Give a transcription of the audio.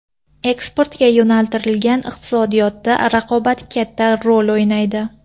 Eksportga yo‘naltirilgan iqtisodiyotda raqobat katta rol o‘ynaydi.